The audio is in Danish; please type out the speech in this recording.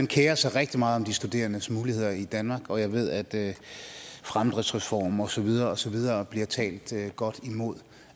kerer sig rigtig meget om de studerendes muligheder i danmark og jeg ved at fremdriftsreformen og så videre og så videre bliver talt talt godt imod